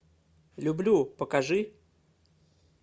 люблю покажи